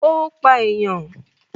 Ó pa ènìyàn?